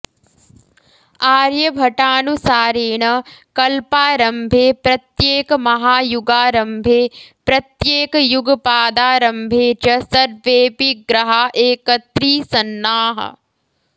आर्यभटानुसारेण कल्पारम्भे प्रत्येकमहायुगारम्भे प्रत्येकयुगपादारम्भे च सर्वेऽपि ग्रहा एकत्रीसन्नाः